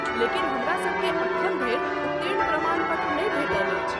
लेकिन हमरासभकेँ अखन धरि उत्तीर्ण प्रमाण पत्र नहि भेटल अछि।